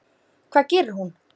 Hvað gerir hún?